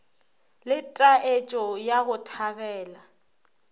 le taetšo ya go thabela